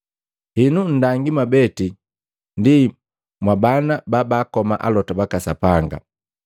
Henu nndangi mwabeti ndi mwa bana babaakoma alota baka Sapanga.